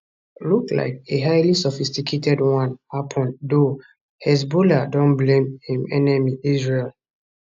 look like a highly sophisticated one happun though hezbollah dom blame im enemy israel